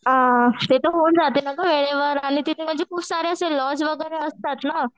अ ते तर होऊन जाते ना गं आणि तिथे म्हणजे खूप सारे असे लॉज वगैरे असतात ना.